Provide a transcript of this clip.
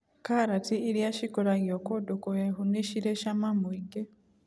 karati iriia cikũragio kũndũ kũhehu ni cirĩ cama mũingĩ.